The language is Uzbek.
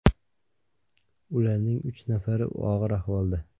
Ularning uch nafari og‘ir ahvolda.